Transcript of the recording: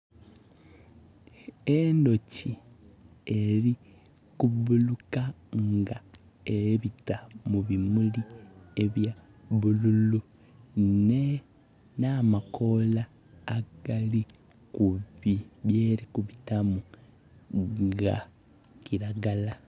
Endooki eri kubbuluka nga ebita mu bimulli ebya bulululu na makoola geri kubiitamu ga kiragala